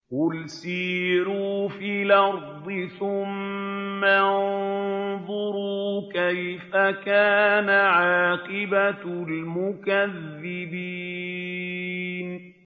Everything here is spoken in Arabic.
قُلْ سِيرُوا فِي الْأَرْضِ ثُمَّ انظُرُوا كَيْفَ كَانَ عَاقِبَةُ الْمُكَذِّبِينَ